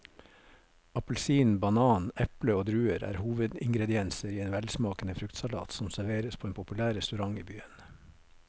Appelsin, banan, eple og druer er hovedingredienser i en velsmakende fruktsalat som serveres på en populær restaurant i byen.